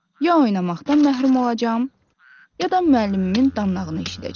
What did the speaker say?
Ya oynamaqdan məhrum olacam, ya da müəllimimin danlağını eşidəcəm.